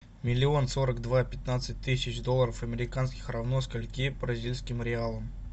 миллион сорок два пятнадцать тысяч долларов американских равно скольки бразильским реалам